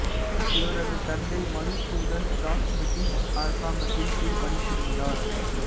இவரது தந்தை மதுசூதன் தாஸ் பிரிட்டிஷ் அரசாங்கத்தின் கீழ் பணிபுரிந்தார்